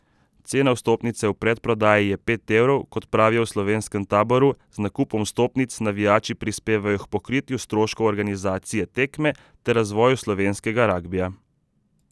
Cena vstopnice v predprodaji je pet evrov, kot pravijo v slovenskem taboru, z nakupom vstopnic navijači prispevajo k pokritju stroškov organizacije tekme ter razvoju slovenskega ragbija.